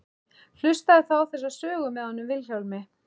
Hlustaðu þá á þessa sögu með honum Vilhjálmi.